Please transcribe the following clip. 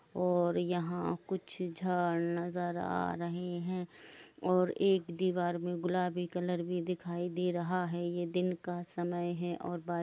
और यहाँ कुछ झाड़ नजर आ रहे है और एक दीबार में गुलाबी कलर भी दिखाई दे रहा हैये दिन का समय है।